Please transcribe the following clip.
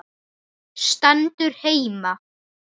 Stendur heima!